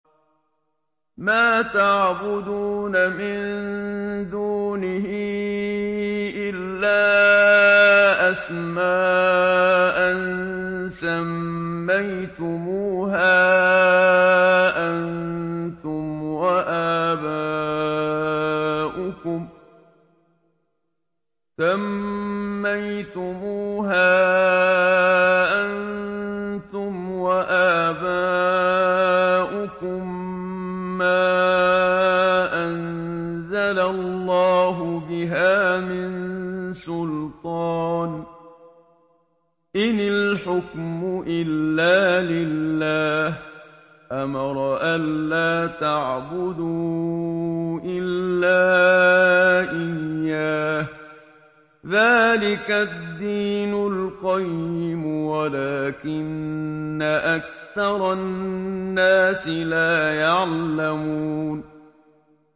مَا تَعْبُدُونَ مِن دُونِهِ إِلَّا أَسْمَاءً سَمَّيْتُمُوهَا أَنتُمْ وَآبَاؤُكُم مَّا أَنزَلَ اللَّهُ بِهَا مِن سُلْطَانٍ ۚ إِنِ الْحُكْمُ إِلَّا لِلَّهِ ۚ أَمَرَ أَلَّا تَعْبُدُوا إِلَّا إِيَّاهُ ۚ ذَٰلِكَ الدِّينُ الْقَيِّمُ وَلَٰكِنَّ أَكْثَرَ النَّاسِ لَا يَعْلَمُونَ